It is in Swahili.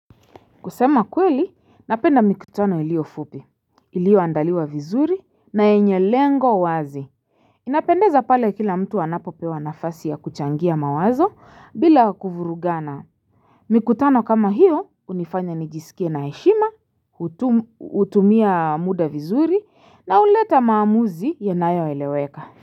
Kusema kweli, napenda mikutano ilio fupi, ilio andaliwa vizuri na enye lengo wazi. Inapendeza pale kila mtu anapopewa nafasi ya kuchangia mawazo bila kuvurugana. Mikutano kama hiyo unifanya nijisikie na heshima, utumia muda vizuri na uleta maamuzi yenayo eleweka.